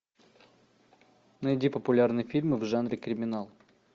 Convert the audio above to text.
найди популярные фильмы в жанре криминал